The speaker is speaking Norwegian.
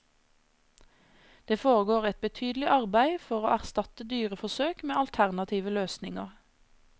Det foregår et betydelig arbeid for å erstatte dyreforsøk med alternative løsninger.